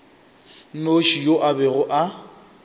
nnoši yo a bego a